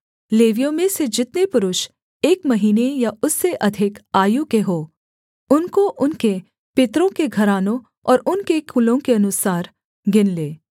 लेवियों में से जितने पुरुष एक महीने या उससे अधिक आयु के हों उनको उनके पितरों के घरानों और उनके कुलों के अनुसार गिन ले